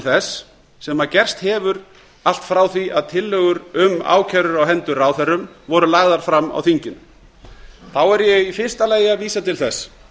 þess sem gerst hefur allt frá því að tillögur um ákærur á hendur ráðherrum voru lagðar fram á þinginu þá er ég í fyrsta lagi að vísa til þess